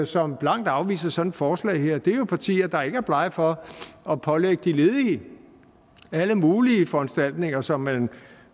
som blankt afviser sådan et forslag her det er jo partier der ikke er blege for at pålægge de ledige alle mulige foranstaltninger som man